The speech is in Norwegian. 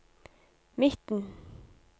midten